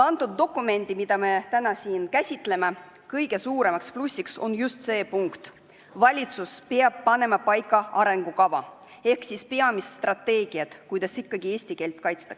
Selle dokumendi, mida me täna siin käsitleme, kõige suuremaks plussiks on just see punkt, et valitsus peab panema paika arengukava ehk siis peamise strateegia, kuidas ikkagi eesti keelt kaitsta.